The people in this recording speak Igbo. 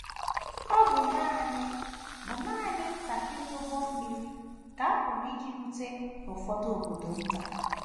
Ọ bụ nanị bụ nanị ntakịrị ụgbọ mmiri ka a pụrụ iji rute n’ụfọdụ obodo nta.